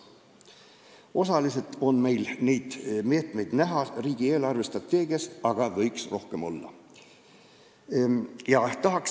Osaliselt on neid meetmeid riigi eelarvestrateegias näha, aga neid võiks rohkem olla.